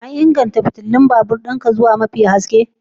An inganta fitilun kan babur ɗin ku zuwa mafi haske?